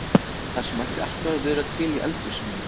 Það sem ætti alltaf að vera til í eldhúsinu þínu!